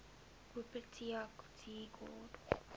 wupperthal tea court